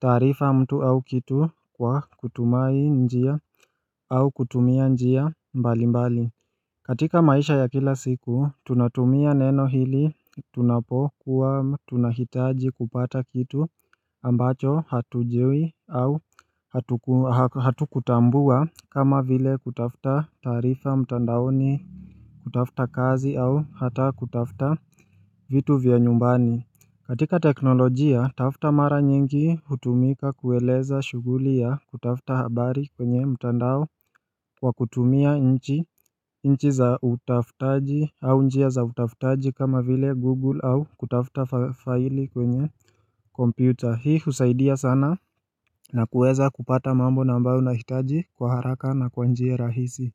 tarifa mtu au kitu kwa kutumai njia au kutumia njia mbali mbali katika maisha ya kila siku tunatumia neno hili tunapo kuwa tunahitaji kupata kitu ambacho hatujiwi au hatu kutambua kama vile kutafta tarifa mtandaoni kutafta kazi au hata kutafta vitu vya nyumbani katika teknolojia tafta mara nyingi hutumika kueleza shuguli ya kutafta habari kwenye mtandao kwa kutumia nchi nchi za utafutaji au njia za utafutaji kama vile google au kutafta faili kwenye kompyuter hii usaidia sana na kuweza kupata mambo nambao na hitaji kwa haraka na kwanjie rahisi.